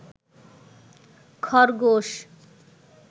খরগোশ